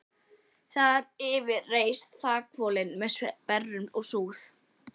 Þar yfir reis þakhvolfið með sperrum og súð.